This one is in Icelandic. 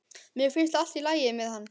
Mér finnst allt í lagi með hann.